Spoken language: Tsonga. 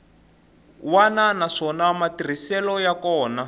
wana naswona matirhiselo ya kona